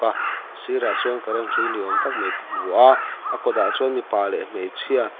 a sirah sawn current hrui ni awm tak mai ka hmu a a kawt ah chuan mipa leh hmeichhia--